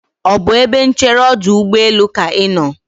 ọ bụ ebe nchere ọdụ ụgbọelụ ka ị nọ?